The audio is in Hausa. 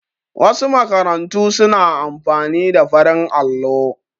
Wasu makarantu su na amfani da farin allo